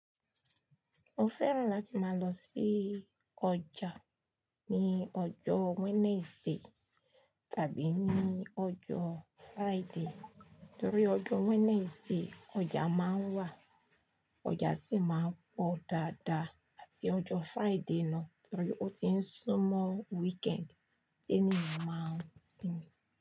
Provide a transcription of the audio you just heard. Mo fẹ́ràn láti máa lọ sí ọjà ní ọjọ́ Wednesday tàbí ní ọjọ́ Friday, torí ọjọ́ Wednesday ọjà máa ń wà, ọjà sì máa ń pọ̀ dáadáa, àti ọjọ́ Friday náà torí ó ti ń sún mọ́ weekend tí ènìyàn máa ń sinmi.